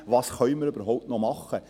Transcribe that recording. Was können wir überhaupt noch machen?